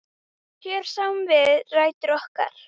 Hér sjáum við rætur okkar.